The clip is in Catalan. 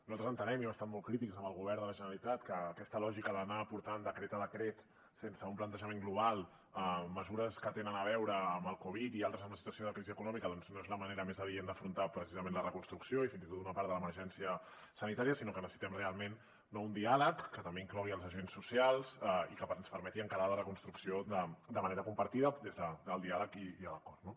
nosaltres entenem i hem estat molt crítics amb el govern de la generalitat que aquesta lògica d’anar portant decret a decret sense un plantejament global mesures que tenen a veure amb el covid i altres amb la situació de crisi econòmica doncs no és la manera més adient d’afrontar precisament la reconstrucció i fins i tot d’una part de l’emergència sanitària sinó que necessitem realment un diàleg que també inclogui els agents socials i que ens permeti encarar la reconstrucció de manera compartida des del diàleg i l’acord